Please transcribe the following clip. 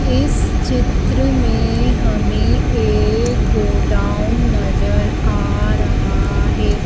इस चित्र में हमें एक गोडाउन नजर आ रहा है।